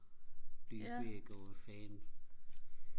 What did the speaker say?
Lübeck og hvad fanden